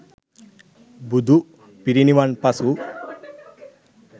බුදු පිරිනිවනින් පසු